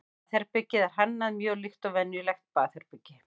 baðherbergið er hannað mjög líkt og venjulegt baðherbergi